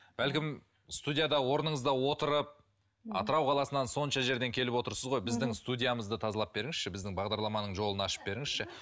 бәлкім студияда орныңызда отырып атырау қаласынан сонша жерден келіп отырсыз ғой біздің студиямызды тазалап беріңізші біздің бағдарламаның жолын ашып беріңізші